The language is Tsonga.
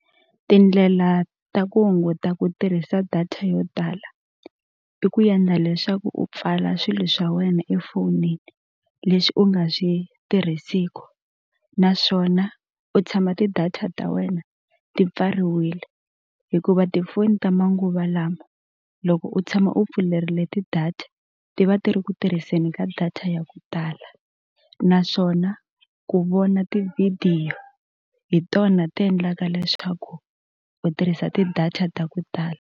Tindlela ta ku hunguta ku tirhisa data yo tala i ku endla leswaku u pfala swilo swa wena efonini leswi u nga swi tirhisiku naswona u tshama ti-data ta wena ti pfariwile hikuva tifoni ta manguva lama loko u tshama u pfuleriwile ti-data ti va ti ri ku tirhiseni ka data ya ku tala naswona ku vona tivhidiyo hi tona ti endlaka leswaku u tirhisa ti-data ta ku tala.